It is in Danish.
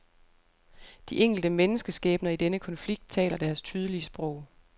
De enkelte menneskeskæbner i denne konflikt taler deres tydelige sprog.